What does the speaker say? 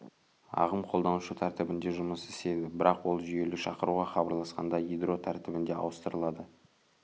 ағым қолданушы тәртібінде жұмыс істейді бірақ ол жүйелік шақыруға хабарласқанда ядро тәртібінде ауыстырылады